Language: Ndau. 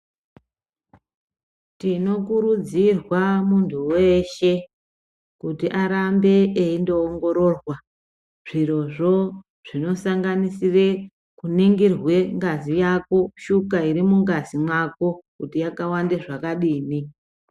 Tinokuridzirwa muntu weshe kuti arambe eindoongororwa zvirozvo zvinosanganisire kuningirwa ngazi yako, shuga iri mungazi mwako kuti yakawanda zvakadini.